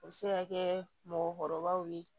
O bɛ se ka kɛ mɔgɔkɔrɔbaw ye